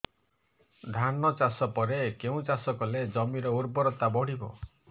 ଧାନ ଚାଷ ପରେ କେଉଁ ଚାଷ କଲେ ଜମିର ଉର୍ବରତା ବଢିବ